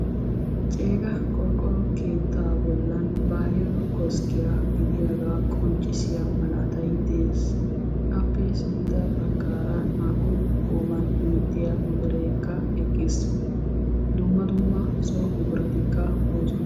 Ceega qorqqoro keetta bollan bahiru koskkiya gidiyooga qonccissiya malattay de'ees. Etta matan kaamettikka de'osonna.